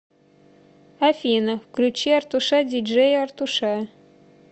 афина включи артуша ди джея артуша